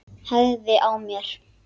Hægði á mér.